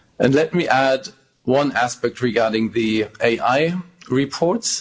Let me add one aspect regarding the AI reports.